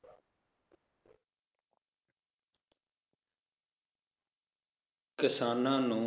ਕਿਸਾਨਾਂ ਨੂੰ,